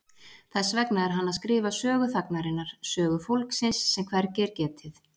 Þess vegna er hann að skrifa sögu þagnarinnar, sögu fólksins sem hvergi er getið.